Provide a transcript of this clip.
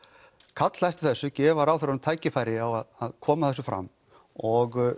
kalla eftir þessu gefa ráðherrunum tækifæri á að koma þessu fram og